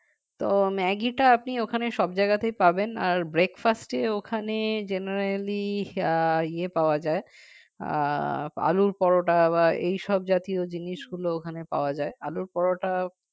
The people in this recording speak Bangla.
তো ম্যাগিটা আপনি ওখানে সব জায়গাতেই পাবেন আর breakfast এ ওখানে generally ইয়ে পাওয়া যায় উম আলুর পরোটা বা এই সব জাতীয় জিনিস গুলো ওখানে পাওয়া যায় আলুর পরোটা